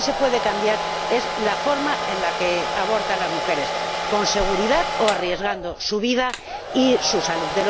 Lo que sí se puede cambiar es la forma en la que abortan las mujeres con seguridad o arriesgando su vida y su salud.